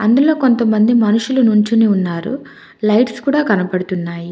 అందులో కొంతమంది మనుషులు నుంచొని ఉన్నారు లైట్స్ కూడా కనపడుతున్నాయి.